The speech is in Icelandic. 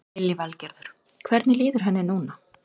Lillý Valgerður: Hvernig líður henni núna?